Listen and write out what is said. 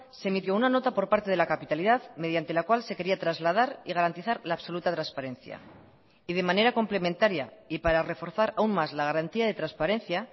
se emitió una nota por parte de la capitalidad mediante la cual se quería trasladar y garantizar la absoluta transparencia y de manera complementaria y para reforzar aún más la garantía de transparencia